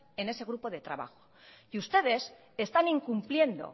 en ese grupo de trabajo y ustedes están incumpliendo